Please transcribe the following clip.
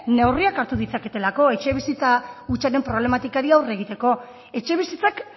neurriak hartu ditzaketelako etxebizitza hutsaren problematikari aurre egiteko etxebizitzak